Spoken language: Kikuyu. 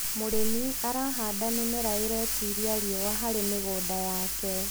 mũrĩmi arahanda mĩmera iretĩĩria riũa harĩ mĩgũnda yake